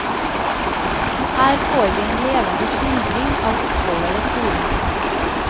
Her får vi en levende skildring av oppholdet ved skolen.